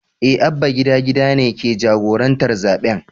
Eh Abba gida gida ne ke jagorantar zaɓen.